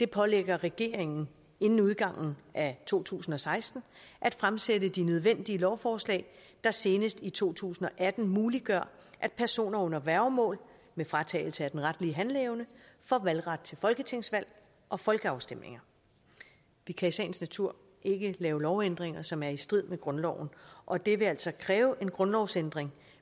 pålægger regeringen inden udgangen af to tusind og seksten at fremsætte de nødvendige lovforslag der senest i to tusind og atten muliggør at personer under værgemål med fratagelse af den retlige handleevne får valgret til folketingsvalg og folkeafstemninger vi kan i sagens natur ikke lave lovændringer som er i strid med grundloven og det vil altså kræve en grundlovsændring